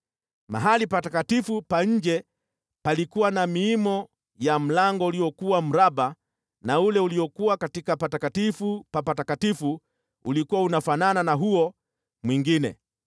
Mahali patakatifu pa nje palikuwa na miimo ya mlango uliokuwa mraba na ule uliokuwa katika Patakatifu Pa Patakatifu ulikuwa unafanana na huo mwingine.